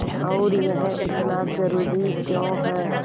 और यह इतना ज़रूरी क्यों है